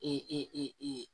E e